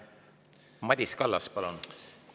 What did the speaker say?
Madis Kallas, palun!